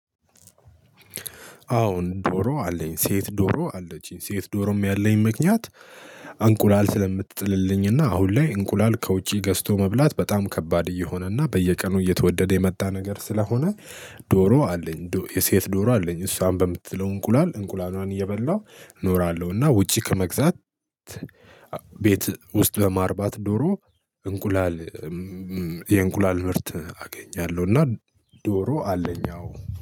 አሁን ዶሮ አለኝ ሴት ዶሮ አለችኝ ሴት ዶሮም ያለኝ ምክንያት እንቁላል ስለምትጥልልኝና አሁን ላይ እንቁላል ከውጪ ገዝቶ መብላት በጣም ከባድ እየሆነና በየቀኑ እየተወደደ የመጣ ነገር ስለሆነ። ዶሮ አለኝ የሴት ዶሮ አለኝ እሷን በምጥለው እንቁላል እንቁላሏን እየበላሁ እኖራለሁ እና ውጪ ከመግዛት። ቤት ውስጥ በማርባት ዶሮ እንቁላል የእንቁላል ምርት አገኛለሁ እና። ዶሮ አለኝ አዎ